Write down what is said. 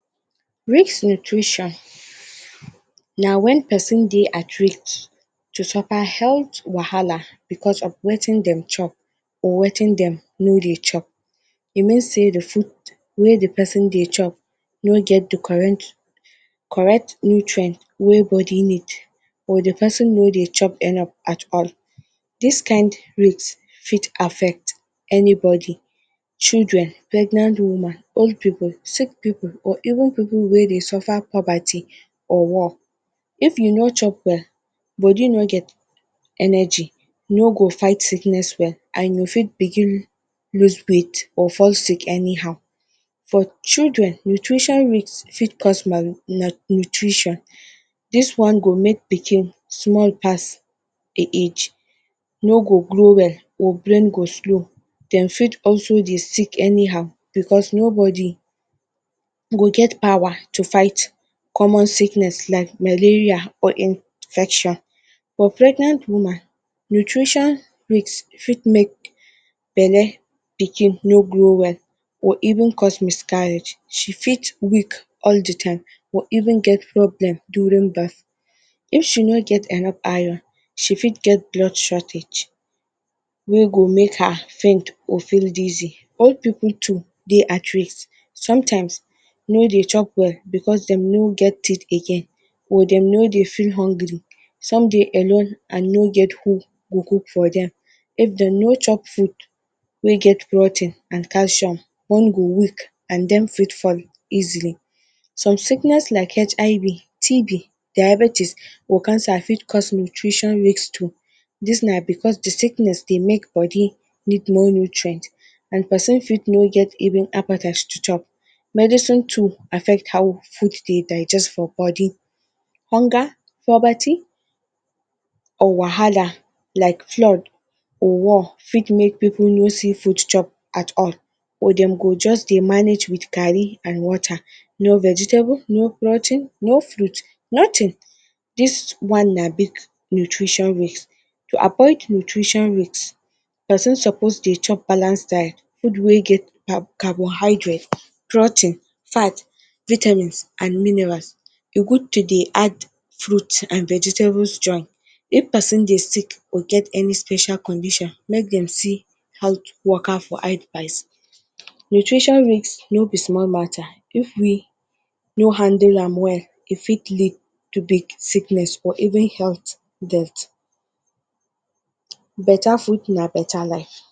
Risk nutrition na wen persin Dey at risk to suffa health wahala, because of wetin dem chop or Wetin dem no Dey chop, e mean sey de food wey d persin Dey chop no get d correct nutrient wey bodi need or de persin no Dey chop enuff at all. Dis kin risk fit affect anybodi children, pregnant woman, old people, sick people or even people wey Dey suffa poverty or work, if u no chop well bodi no get energy ,e no go fight sickness well and u fit begin loose weight or fall sick anyhow. For children, nutrition risk fit cause malnutrition this one go make pikin small pass hin age no go grow well or brain go slow dem fit also Dey sick anyhow because nobodi go get powa to fight common sickness like malaria or infection, for pregnant woman nutrition risk fit make belle pikin no grow well or even cause miscarriage, she fit weak all d time or even get problem during birth, if she no get enuff Iron she fit get blood shortage wey go make her faint or feel dizzy, old people too dey at risk, sometimes no Dey chop well because dem no get teeth again or dem no Dey feel hungry, some Dey alone and no get who go cook for them, if them no chop food wey get protein and calcium, bone go weak and dem fit fall easily, some sickness like HIV, TB, diabetties or cancer fit cause nutrition risk too dis na because d sickness dey make bodi need more nutrients and persin fit no get appetite to chop, medicine too affect how food Dey digest for bodi, hunger, poverty or wahala like flood fit make may people no see food chop at all or dem go just Dey manage with garri and water, no vegetables, no fruit, no protein nothin, dis one na big nutrition risk, to avoid nutrition risk persin suppose dey chop balanced diet, food wey get carbohydrates, protein, fat, vitamin and minerals, e good to Dey add fruits and vegetables join, if persin dey sick or get any special condition make dem see how to Waka for advice. Nutrition risk no b small matter, if we no handle am well e fit lead to big sickness or even health death. Beta food na beta life.